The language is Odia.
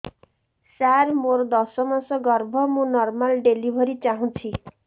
ସାର ମୋର ଦଶ ମାସ ଗର୍ଭ ମୁ ନର୍ମାଲ ଡେଲିଭରୀ ଚାହୁଁଛି